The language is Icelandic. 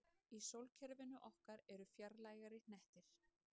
Í sólkerfinu okkar eru enn fjarlægari hnettir.